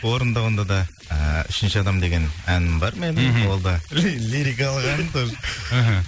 орындауында да ііі үшінші адам деген әнім бар менің мхм ол да лирикалық ән тоже іхі